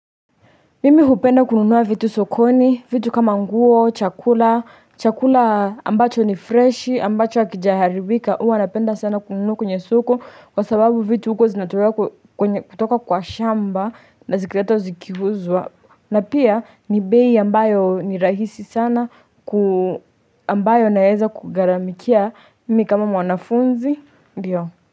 Mimi hupenda kununua vitu sokoni, vitu kama nguo, chakula, chakula ambacho ni freshi, ambacho hakijaharibika, huwa napenda sana kununua kwenye soko Kwa sababu vitu huko zinatolewa kutoka kwa shamba na zikiletwa zikiuzwa na pia ni bei ambayo ni rahisi sana ambayo naeza kugaramikia, mimi kama mwanafunzi, ndio.